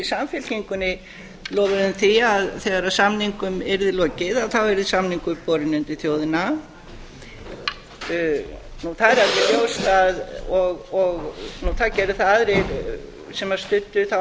samfylkingunni lofuðum því að þegar samningum yrði lokið þá yrði samningur borinn undir þjóðina og það er alveg ljóst að aðrir sem studdu þá